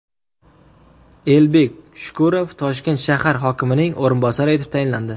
Elbek Shukurov Toshkent shahar hokimining o‘rinbosari etib tayinlandi.